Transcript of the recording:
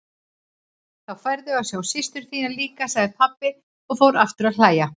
Þá færðu að sjá systur þína líka, sagði pabbi og fór aftur að hlæja.